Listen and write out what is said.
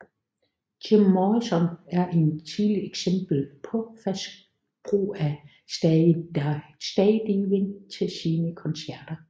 Jim Morrison er et tidligt eksempel på fast brug af stagediving til sine koncerter